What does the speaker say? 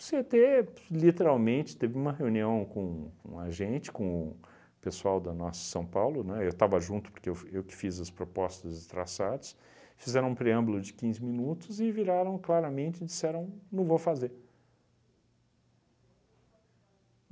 O cê e tê pf literalmente teve uma reunião com com a gente, com o pessoal da Nossa São Paulo, né, eu estava junto porque eu fu eu que fiz as propostas e traçados, fizeram um preâmbulo de quinze minutos e viraram claramente e disseram não vou fazer.